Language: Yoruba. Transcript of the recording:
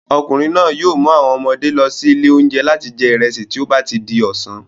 Ọmọkùnrin náà yìí o mu àwọn ọmọdé lọ sí ilé oúnjẹ láti jẹ ìrẹsì tí ó bati di ọ̀sán